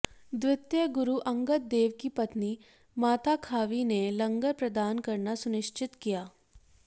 द्वितीय गुरु अंगद देव की पत्नी माता खावी ने लंगर प्रदान करना सुनिश्चित किया